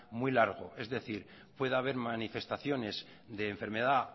muy largo es decir puede haber manifestaciones de enfermedad